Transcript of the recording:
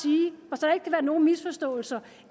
og nogen misforståelser